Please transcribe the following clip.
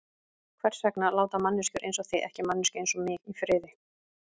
Hvers vegna láta manneskjur einsog þið ekki manneskju einsog mig í friði?